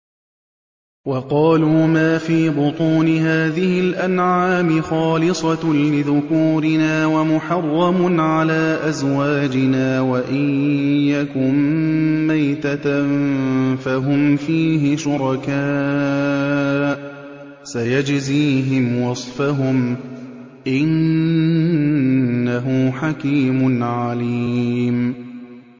وَقَالُوا مَا فِي بُطُونِ هَٰذِهِ الْأَنْعَامِ خَالِصَةٌ لِّذُكُورِنَا وَمُحَرَّمٌ عَلَىٰ أَزْوَاجِنَا ۖ وَإِن يَكُن مَّيْتَةً فَهُمْ فِيهِ شُرَكَاءُ ۚ سَيَجْزِيهِمْ وَصْفَهُمْ ۚ إِنَّهُ حَكِيمٌ عَلِيمٌ